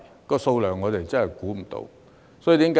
這數目我們真的估算不到。